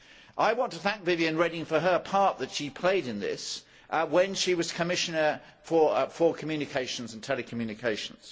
I want to thank Viviane Reding for the part that she played in this when she was Commissioner for communications and telecommunications.